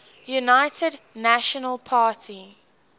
united national party